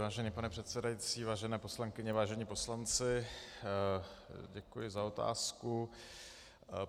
Vážený pane předsedající, vážené poslankyně, vážení poslanci, děkuji za otázku.